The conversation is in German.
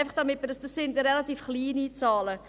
Das sind relativ kleine Zahlen.